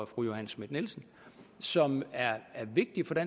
fru johanne schmidt nielsen som er vigtige